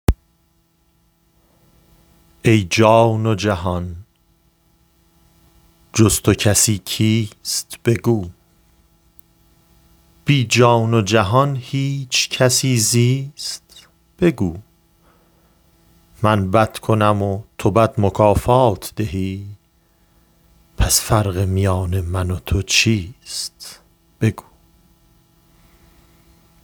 ای جان جهان جز تو کسی کیست بگو بی جان و جهان هیچ کسی زیست بگو من بد کنم و تو بد مکافات دهی پس فرق میان من و تو چیست بگو